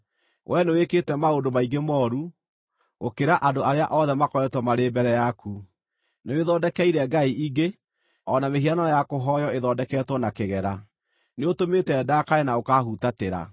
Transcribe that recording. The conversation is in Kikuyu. Wee nĩwĩkĩte maũndũ maingĩ mooru, gũkĩra andũ arĩa othe makoretwo marĩ mbere yaku. Nĩwĩthondekeire ngai ingĩ, o na mĩhianano ya kũhooywo ĩthondeketwo na kĩgera. Nĩũtũmĩte ndakare na ũkaahutatĩra.